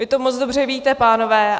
Vy to moc dobře víte, pánové.